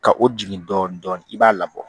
Ka o jigin dɔɔnin dɔɔnin i b'a labɔ